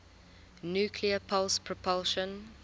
nuclear pulse propulsion